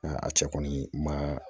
a cɛ kɔni ma